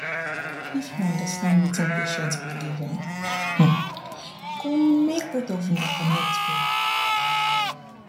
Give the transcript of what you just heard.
if you understand wetin patient believe e um go make both of una connect well